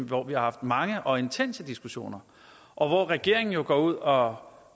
hvor vi har haft mange og intense diskussioner og hvor regeringen jo går ud og